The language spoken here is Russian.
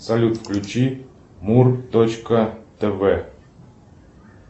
салют включи мур точка тв